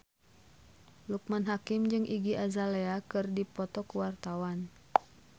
Loekman Hakim jeung Iggy Azalea keur dipoto ku wartawan